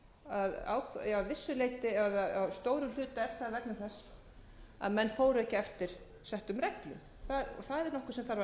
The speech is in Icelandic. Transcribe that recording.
að stórum hluta er það vegna þess að menn fóru ekki eftir settum reglum það er nokkuð sem þarf að